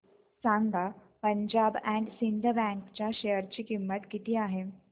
सांगा Punjab and Sind bank च्या share ची किंमत किती आहे